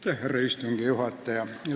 Härra istungi juhataja!